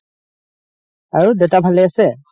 আৰু দেউতা ভালে আছে?